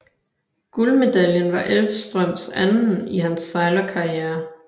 Guldmedaljen var Elvstrøms anden i hans sejlerkarriere